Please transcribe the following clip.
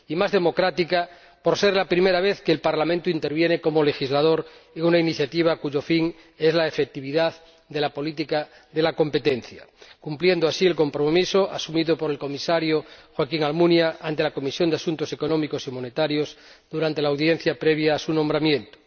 Y más democrática, por ser la primera vez que el Parlamento interviene como legislador en una iniciativa cuyo fin es la efectividad de la política de la competencia de esta forma se cumple el compromiso asumido por el Comisario Joaquín Almunia ante la Comisión de Asuntos Económicos y Monetarios durante la comparecencia previa a su nombramiento.